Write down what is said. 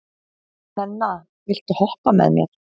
Nenna, viltu hoppa með mér?